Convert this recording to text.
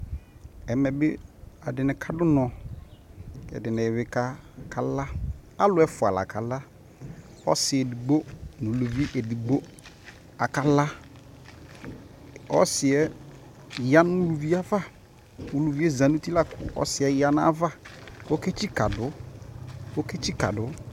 Ɛmɛ bi ɛdi ni kadunɔ, ɛdi ni bi kala Alʋ ɛfua la kala, ɔsi edigbo nʋ uluvi edigbo akala Ɔsi yɛ ya nʋ ulʋvi yɛ ava, ulʋvi yɛ za nʋ uti la kʋ ɔsi yɛ ya nʋ ava kʋ oketsika dʋ kʋ oketsika dʋ